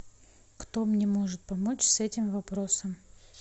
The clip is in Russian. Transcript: кто мне может помочь с этим вопросом